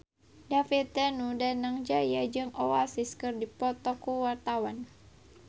David Danu Danangjaya jeung Oasis keur dipoto ku wartawan